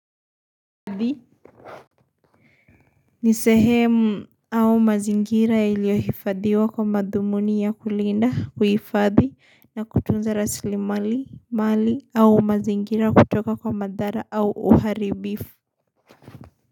Nisehemu au mazingira iliohifadhiwa kwa madhumuni ya kulinda kuifadhi na kutunza rasili mali au mazingira kutoka kwa madhara au uharibifu.